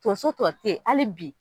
Tonso tɔ tɛ yen hali bi.